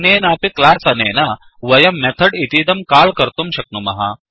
अन्येनापि class अनेन् वयं method इतीदं काल् कर्तुं शक्नुमः